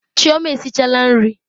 Chioma esichala nri.